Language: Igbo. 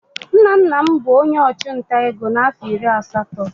Nna nna m bụ onye ọchụnta ego na afọ iri asatọ.